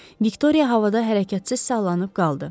Viktoriya havada hərəkətsiz sallanıb qaldı.